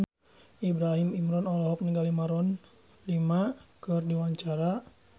Ibrahim Imran olohok ningali Maroon 5 keur diwawancara